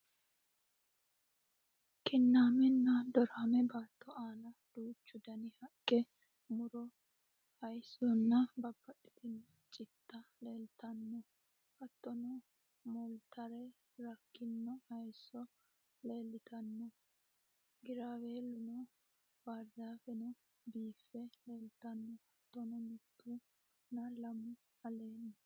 Kinaamenna do'raame baatto aana duuchu dani Haqqe, mu'ro haayissonna babbaxxitino citta leellitanno hattono mooltara rakkino hayisso leellitanno: Giraawiilluno, bahirizaafeno biiffe leeltanno hattono mittu nna lamu alleenni